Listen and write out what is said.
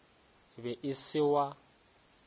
e be e se wa